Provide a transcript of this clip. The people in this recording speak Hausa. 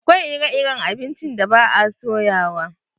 Akwai ire-iren abincin da ba a soyawa.